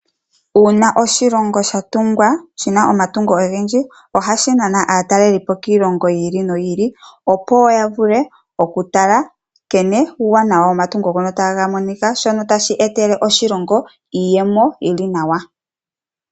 Uuna oshilongo sha tungwa, shi na omatungo ogendji ohashi nana aatalelipo kiilongo yiili noyiili opo ya vule oku tala nkene omatungo ngono taga monika, shono tashi etele oshilongo iiyemo yili nawa.